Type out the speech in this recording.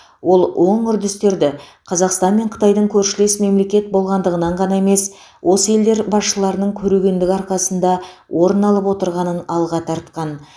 ол оң үрдістерді қазақстан мен қытайдың көршілес мемлекет болғандығынан ғана емес осы елдер басшыларының көрегендігі арқасында орын алып отырғанын алға тартқан